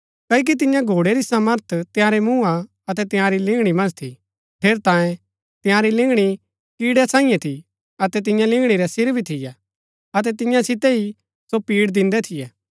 क्ओकि तियां घोड़ै री सामर्थ तंयारै मूँहा अतै तंयारी लिंगणी मन्ज थी ठेरैतांये तंयारी लिंगणी कीड़ै सांईये थी अतै तियां लिंगणी रै सिर भी थियै अतै तियां सितै ही सो पिड़ दिन्दै थियै